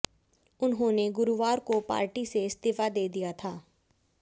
उन्होंने गुरुवार को पार्टी से इस्तीफा दे दिया था